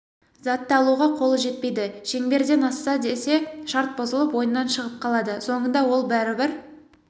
затты алуға қолы жетпейді шеңберден асса десе шарт бұзылып ойыннан шығып қалады соңында ол бәрібір